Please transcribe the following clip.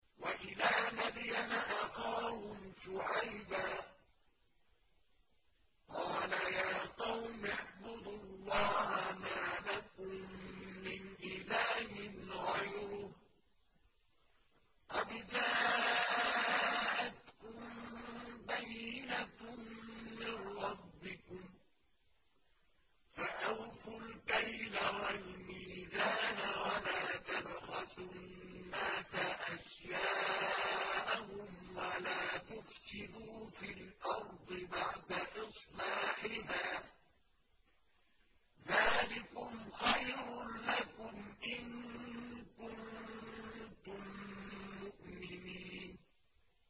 وَإِلَىٰ مَدْيَنَ أَخَاهُمْ شُعَيْبًا ۗ قَالَ يَا قَوْمِ اعْبُدُوا اللَّهَ مَا لَكُم مِّنْ إِلَٰهٍ غَيْرُهُ ۖ قَدْ جَاءَتْكُم بَيِّنَةٌ مِّن رَّبِّكُمْ ۖ فَأَوْفُوا الْكَيْلَ وَالْمِيزَانَ وَلَا تَبْخَسُوا النَّاسَ أَشْيَاءَهُمْ وَلَا تُفْسِدُوا فِي الْأَرْضِ بَعْدَ إِصْلَاحِهَا ۚ ذَٰلِكُمْ خَيْرٌ لَّكُمْ إِن كُنتُم مُّؤْمِنِينَ